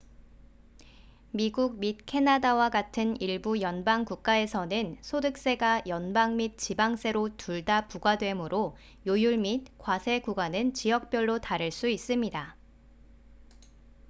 미국 및 캐나다와 같은 일부 연방 국가에서는 소득세가 연방 및 지방세로 둘 다 부과되므로 요율 및 과세구간은 지역별로 다를 수 있습니다